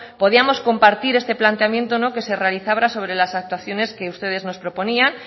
podíamos compartir este planteamiento que se realizaba sobre las actuaciones que ustedes nos proponían